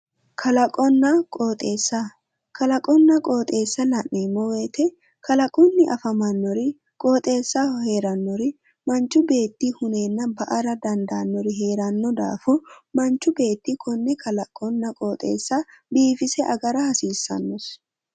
kalagonna qoxxeessa la'neemmo woyite kalaqunni afamannori qoxeessaho afamannori qoxeessaho heerannori manchi beetti huneenna ba'ara dandaannori heeranno daafo manchu beeti kone qoxeessa biifisse agara noosi